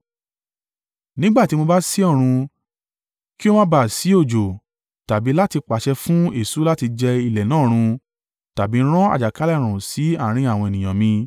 “Nígbà tí mo bá sé ọ̀run kí ó ma bá à sí òjò, tàbí láti pàṣẹ fún eṣú láti jẹ ilẹ̀ náà run tàbí rán àjàkálẹ̀-ààrùn sí àárín àwọn ènìyàn mi,